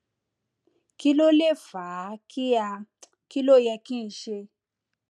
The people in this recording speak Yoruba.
kí ló lè fà á kí á kí ló yẹ kí n ṣe